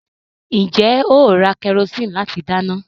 Ǹjẹ́ ó ra kẹrosíìnì láti dáná?